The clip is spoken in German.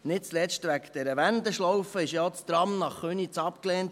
Nicht zuletzt wegen dieser Wendeschlaufe wurde ja auch das Tram nach Köniz abgelehnt.